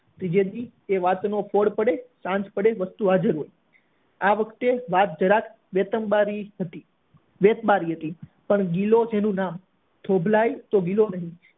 બીજે દિવસે એ વાત નો ફોડ પડ્યો સાંજ પડે વસ્તુ હાજર હોય આ વખતે વાત જરાક બેતમ્બરી હતી બેજ બારી હતી પણ ગિલો તેનું નામ થોભલાય તો ગિલો નહી